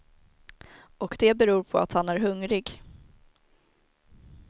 Och det beror på att han är hungrig.